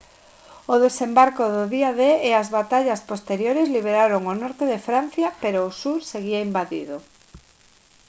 o desembarco do día d e as batallas posteriores liberaron o norte de francia pero o sur seguía invadido